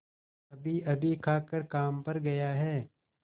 अभीअभी खाकर काम पर गया है